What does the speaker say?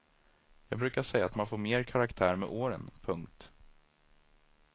Jag brukar säga att man får mer karaktär med åren. punkt